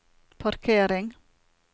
parkering